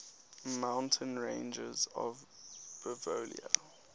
mountain ranges of bolivia